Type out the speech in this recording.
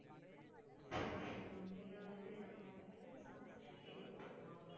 சரி சரி okay இது நம்ம யார்கிட்டயாவது sponsorship கேட்டு பாப்போமா?